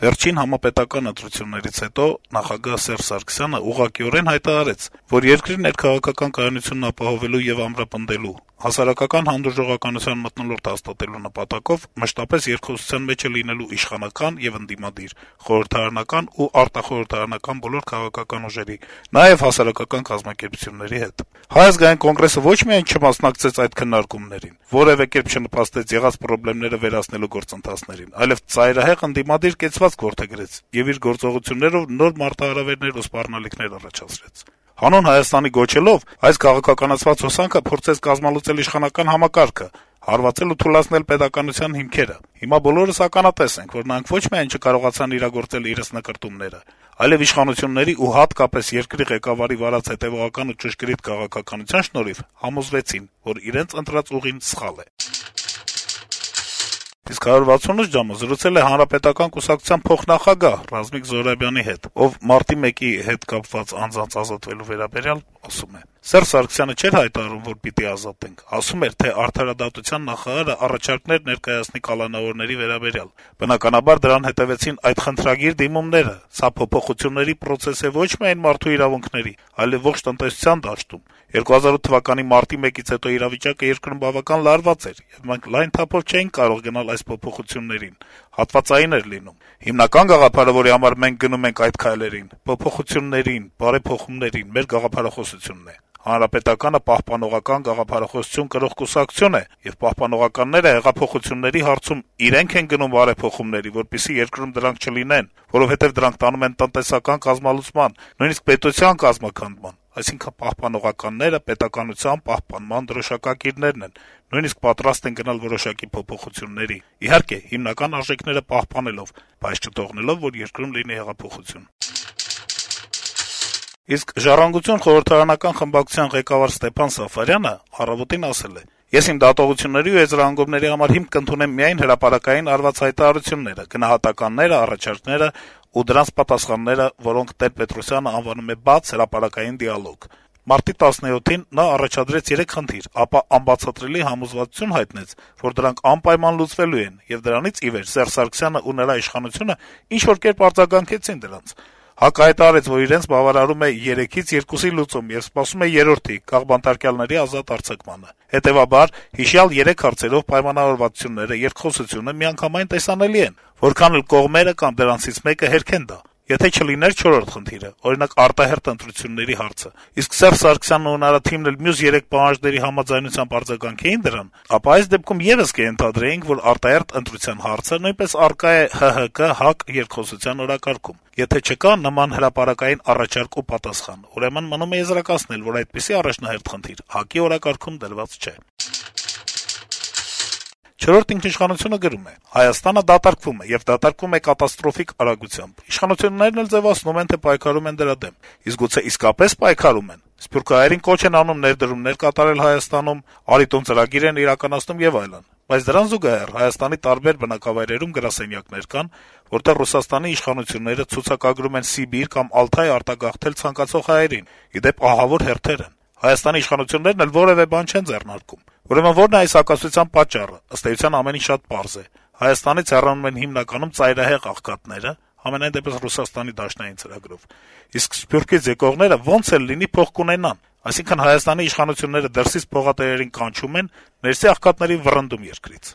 «Վերջին համապետական ընտրություններից հետո նախագահ Սերժ Սարգսյանը ուղղակիորեն հայտարարեց, որ երկրի ներքաղաքական կայունությունն ապահովելու եւ ամրապնդելու, հասարակական հանդուրժողականության մթնոլորտ հաստատելու նպատակով մշտապես երկխոսության մեջ է լինելու իշխանական ու ընդդիմադիր, խորհրդարանական ու արտախորհրդարանական բոլոր քաղաքական ուժերի, նաեւ հասարակական կազմակերպությունների հետ», - ասում է պատգամավորը` շարունակելով. - «ՀԱԿ-ը ոչ միայն չմասնակցեց այս քննարկումներին, որեւէ կերպ չնպաստեց եղած պրոբլեմները վերացնելու գործընթացներին, այլեւ ծայրահեղ ընդդիմադիր կեցվածք որդեգրեց եւ իր գործողություններով նոր մարտահրավերներ ու սպառնալիքներ առաջացրեց: «Հանուն Հայաստանի» գոչելով` այս քաղաքականացված հոսանքը փորձեց կազմալուծել իշխանական համակարգը, հարվածել ու թուլացնել պետականության հիմքերը: Հիմա բոլորս ականատես ենք, որ նրանք ոչ միայն չկարողացան իրագործել իրենց նկրտումները, այլեւ իշխանությունների ու հատկապես երկրի ղեկավարի վարած հետեւողական ու ճշգրիտ քաղաքականության շնորհիվ համոզվեցին, որ իրենց ընտրած ուղին սխալ է»: Իսկ «168 ժամ»-ը զրուցել է Հանրապետական կուսակցության փոխնախագահ Ռազմիկ Զոհրաբյանի հետ, ով Մարտի 1-ի հետ կապված անձանց ազատ արձակելու վերաբերյալ ասում է. - «Սերժ Սարգսյանը չէր հայտարարում, որ` պիտի ազատենք, ասում էր, թե արդարադատության նախարարը առաջարկներ ներկայացնի կալանավորների վերաբերյալ: Բնականաբար, դրան հետեւեցին այդ խնդրագիր-դիմումները: Սա փոփոխությունների պրոցես է ոչ միայն մարդու իրավունքների, այլ ողջ տնտեսության դաշտում: 2008թ. մարտի 1-ից հետո իրավիճակը երկրում բավականին լարված էր, եւ մենք լայն թափով չէինք կարող գնալ այդ փոփոխություններին, հատվածային էր լինում: Հիմնական գաղափարը, որի համար մենք գնում ենք այդ քայլերին, փոփոխություններին, բարեփոխումներին, մեր գաղափարախոսություն է: ՀՀԿ-ն պահպանողական գաղափարախոսություն կրող կուսակցությունն է: Եվ պահպանողականները հեղափոխությունների հարցում իրենք են գնում բարեփոխումների, որպեսզի երկրում դրանք չլինեն, որովհետեւ դրանք տանում են տնտեսական կազմալուծման, նույնիսկ պետության կազմաքանդման: Այսինքն` պահպանողականները պետականության պահպանման դրոշակակիրներն են, նույնիսկ պատրաստ են գնալ որոշակի փոփոխությունների, իհարկե, հիմնական արժեքները պահպանելով, բայց չթողնել, որ երկրում լինի հեղափոխություն»: «ժառանգություն» խորհրդարանական խմբակցության ղեկավար Ստեփան Սաֆարյանը «Առավոտ»-ին ասել է. - «Ես իմ դատողությունների ու եզրահանգումների համար հիմք կընդունեմ միայն հրապարակային արված հայտարարությունները, գնահատականները, առաջարկները ու դրանք պատասխանները, որոնք Տեր-Պետրոսյանը անվանում է «բաց, հրապարակային դիալոգ»: Մարտի 17-ին նա առաջադրեց 3 խնդիր, ապա անբացատրելի համոզվածություն հայտնեց, որ դրանք անպայման լուծվելու են, եւ դրանից ի վեր Սերժ Սարգսյանն ու նրա իշխանությունը ինչ-որ կերպ արձագանքեցին դրանց: ՀԱԿ-ը հայտարարեց, որ իրենց բավարարում է երեքից երկուսի լուծումը եւ սպասում է երրորդի` քաղբանտարկյալների ազատ արձակմանը: Հետեւաբար, հիշյալ երեք հարցերով պայմանավորվածությունները, երկխոսությունը միանգամայն տեսանելի են` որքան էլ կողմերը կամ դրանցից մեկը հերքեն դա: Եթե չլինել չորրորդ խնդիր, օրինակ` արտահերթ ընտրությունների հարցը, իսկ Սերժ Սարգսյանն ու նրա թիմն էլ մյուս երեք պահանջների համանմանությամբ արձագանքեին դրան, ապա այդ դեպքում եւս կենթադրեինք, որ արտահերթ ընտրության հարցը նույնպես առկա է ՀՀԿ - ՀԱԿ երկխոսության օրակարգում: Եթե չկա նման հրապարակային առաջարկ ու պատասխան, ուրեմն մնում է եզրակացնել, որ այդպիսի առաջնահերթ խնդիր ՀԱԿ-ի օրակարգում դրված չէ»: «Չորրորդ ինքնիշխանություն»-ը գրում է. - «Հայաստանը դատարկվում է, եւ դատարկվում է կատաստրոֆիկ արագությամբ: Իշխանություններն էլ ձեւացնում են, թե պայքարում են դրա դեմ: Իսկ գուցե իսկապե՞ս պայքարում են: Սփյուռքահայերին կոչ են անում ներդրումներ կատարել Հայաստանում, «Արի տուն» ծրագիր են իրականացնում եւ այլն: Բայց դրան զուգահեռ` Հայաստանի տարբեր վայրերում գրասենյակներ կան, որտեղ Ռուսաստանի իշխանությունները ցուցակագրում են Սիբիր կամ Ալթայ արտագաղթել ցանկացող հայերին: Ի դեպ` ահավոր հերթեր են: Հայաստանի իշխանություններն էլ որեւէ բան չեն ձեռնարկում: Ուրեմն ո՞րն է այս հակասության պատճառը: Ըստ էության` ամեն ինչ շատ պարզ է: Հայաստանից հեռանում են հիմնականում ծայրահեղ աղքատները (համենայն դեպս` Ռուսաստանի դաշնային ծրագրով), իսկ Սփյուռքից եկողները, ոնց էլ լինի, փող կունենան: Այսինքն` Հայաստանի իշխանությունները դրսից «փողատերերին» կանչում են, ներսի աղքատներին` վռնդում երկրից»: